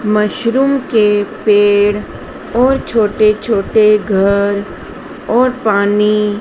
mushroom के पेड़ और छोटे छोटे घर और पानी--